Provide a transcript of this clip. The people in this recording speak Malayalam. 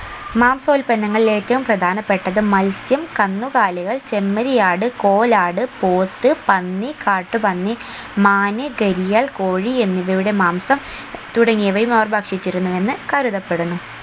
മാംസോൽപ്പന്നങ്ങളിൽ ഏറ്റവും പ്രധാനപ്പെട്ടത് മൽസ്യം കന്നുകാലികൾ ചെമ്മരിയാട് കോലാട് പോത്ത് പന്നി കാട്ടുപന്നി മാന് ഗരിയാൽ കോഴി എന്നിവയുടെ മാംസം തുടങ്ങിയവയും അവർ ഭക്ഷിച്ചിരുന്നു എന്ന് കരുതപ്പെടുന്നു